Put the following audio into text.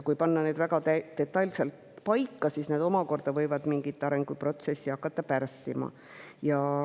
Kui panna need väga detailselt paika, siis need võivad hakata mingit arenguprotsessi pärssima.